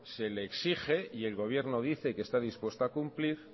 se le exige y el gobierno dice que está dispuesto a cumplir